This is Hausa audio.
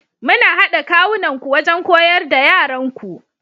Ku hada kawunanku wajen koyar da yaranku.